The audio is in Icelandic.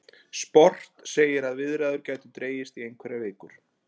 Sport segir að viðræður gætu dregist í einhverjar vikur